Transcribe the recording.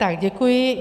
Tak děkuji.